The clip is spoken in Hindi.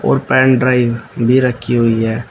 और पेन ड्राइव भी रखी हुई है।